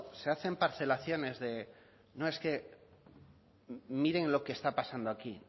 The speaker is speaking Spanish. se hacen parcelaciones de no es que miren lo que está pasando aquí